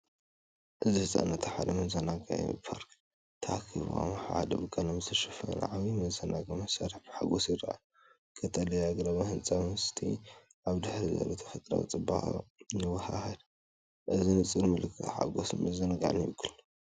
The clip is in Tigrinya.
እዚ ህጻናት ኣብ ሓደ መዘናግዒ ፓርክ ተኣኪቦም፡ ኣብ ሓደ ብቀለም ዝተሸፈነ ዓቢ መዘናግዒ መሳርሒ ብሓጎስ ይረኣዩ። ቀጠልያ ኣግራብን ህንጻ ገዛን ምስቲ ኣብ ድሕሪት ዘሎ ተፈጥሮኣዊ ጽባቐ ይወሃሃድ፤ እዚ ብንጹር ምልክት ሓጐስን ምዝንጋዕን ይውክል።